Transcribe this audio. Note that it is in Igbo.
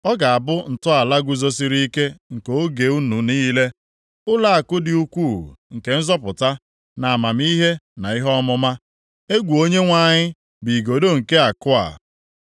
Ọ ga-abụ ntọala guzosiri ike nke oge unu niile, ụlọakụ dị ukwu nke nzọpụta, na amamihe na ihe ọmụma; egwu Onyenwe anyị bụ igodo nke akụ a.